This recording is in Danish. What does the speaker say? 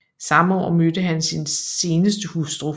Samme år mødte han sin senere hustru